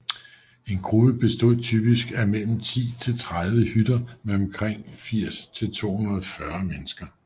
En gruppe bestod typisk af mellem 10 og 30 hytter med omkring 80 til 240 mennesker